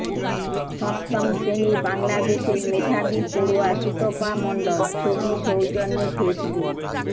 সপ্তম শ্রেণির বাংলাদেশের মেধাবী পড়ুয়া সুতপা মণ্ডল ছবি সৌজন্যে ফেসবুক